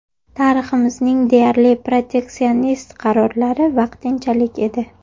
Tariximizning deyarli proteksionist qarorlari ‘vaqtinchalik’ edi.